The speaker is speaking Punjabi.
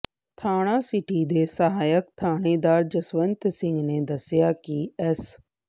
ਥਾਣਾ ਸਿਟੀ ਦੇ ਸਹਾਇਕ ਥਾਣੇਦਾਰ ਜਸਵੰਤ ਸਿੰਘ ਨੇ ਦੱਸਿਆ ਕਿ ਐਸ